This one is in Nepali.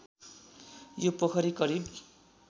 यो पोखरी करिब